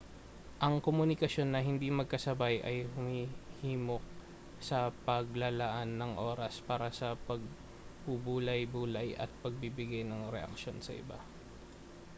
ang komunikasyon na hindi magkasabay ay humihimok sa paglalaan ng oras para sa pagbubulay-bulay at pagbibigay ng reaksyon sa iba